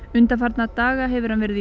undanfarna daga hefur hann verið í